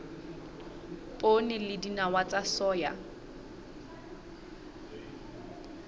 poone le dinawa tsa soya